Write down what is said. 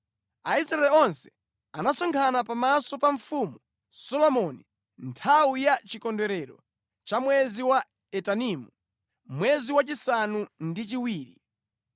Aisraeli onse anasonkhana pamaso pa Mfumu Solomoni nthawi ya chikondwerero cha mwezi wa Etanimu, mwezi wachisanu ndi chiwiri.